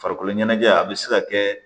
Farikolo ɲɛnajɛ a bɛ se ka kɛ